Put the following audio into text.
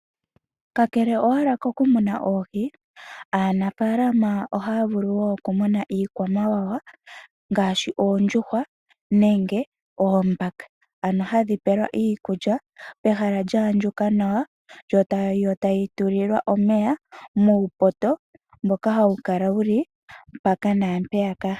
Kakele owala kokumuna oohi, aanafaalama oha ya vulu woo okumuna iikwamawawa ngaashi oondjuhwa nenge oombaka, ano hadhi pewa iikulya pehala lya andjuka nawa, yo tayi tulilwa omeya muupoto mboka hawu kala wuli mpaka naampeyaka.